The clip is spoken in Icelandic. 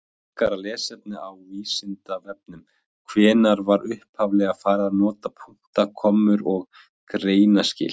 Frekara lesefni á Vísindavefnum: Hvenær var upphaflega farið að nota punkta, kommur og greinaskil?